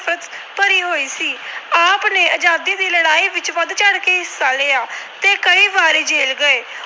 ਭਰੀ ਹੋਈ ਸੀ। ਆਪ ਨੇ ਆਜਾਦੀ ਦੀ ਲੜਾਈ ਵਿੱਚ ਵੱਧ ਚੜ੍ਹ ਕੇ ਹਿੱਸਾ ਲਿਆ ਤੇ ਕਈ ਵਾਰੀ ਜੇਲ੍ਹ ਗਏ।